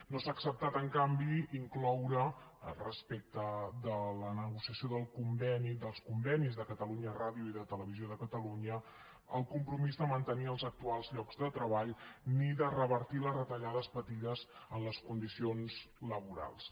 no s’ha acceptat en canvi incloure respecte de la negociació dels convenis de catalunya ràdio i de televisió de catalunya el compromís de mantenir els actuals llocs de treball ni de revertir les retallades patides en les condicions laborals